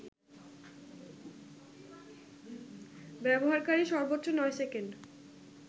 ব্যবহারকারী সর্বোচ্চ ৯ সেকেন্ড